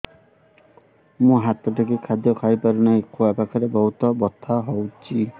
ମୁ ହାତ ଟେକି ଖାଦ୍ୟ ଖାଇପାରୁନାହିଁ ଖୁଆ ପାଖରେ ବହୁତ ବଥା ହଉଚି